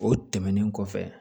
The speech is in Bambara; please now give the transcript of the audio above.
O tɛmɛnen kɔfɛ